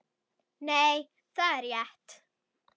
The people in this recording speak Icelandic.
Nei, það er rétt